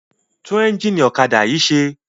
Tún ẹ́ńjínì ọ̀kadà yìí ṣe!